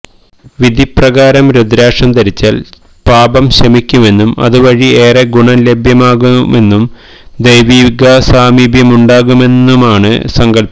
വിധിപ്രകാരം രുദ്രാക്ഷം ധരിച്ചാല് പാപം ശമിക്കുമെന്നും അതുവഴി ഏറെ ഗുണം ലഭ്യമാകുമെന്നും ദൈവിക സാമീപ്യമുണ്ടാകുമെന്നുമാണ് സങ്കല്പ്പം